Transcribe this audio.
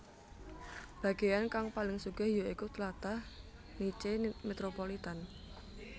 Bagéan kang paling sugih ya iku tlatah Nice metropolitan